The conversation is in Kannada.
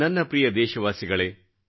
ನನ್ನ ದೇಶವಾಸಿಗಳೆ